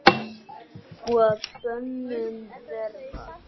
og að bönum verða